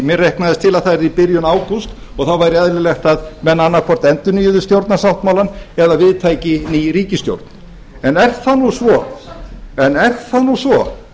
mér reiknaðist til að það væri í byrjun ágúst og þá væri eðlilegt að menn annað hvort endurnýjuðu stjórnarsáttmálann eða við tæki ný ríkisstjórn er það nú svo